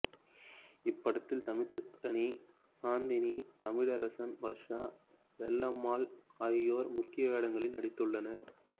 இப்படத்தில் சமுத்திரக்கனி சாந்தினி தமிழரசன் வர்ஷா பொல்லம்மா ஆகியோர் முக்கிய வேடங்களில் நடித்துள்ளனர்